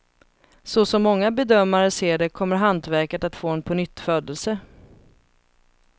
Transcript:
Så som många bedömare ser det kommer hantverket att få en pånyttfödelse.